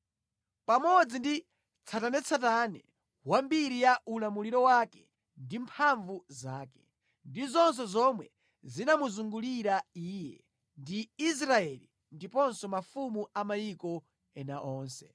pamodzi ndi tsatanetsatane wa mbiri ya ulamuliro wake ndi mphamvu zake, ndi zonse zomwe zinamuzungulira iye ndi Israeli ndiponso mafumu a mayiko ena onse.